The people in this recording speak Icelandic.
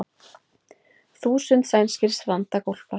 Þúsund sænskir strandaglópar